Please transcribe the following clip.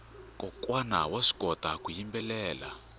kokwana vaswi kota ku yimbelela